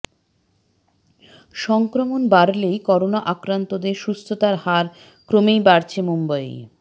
সংক্রমণ বাড়লেই করোনা আক্রান্তদের সুস্থতার হার ক্রমেই বাড়ছে মুম্বইয়ে